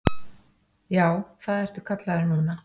Já, það ertu kallaður núna.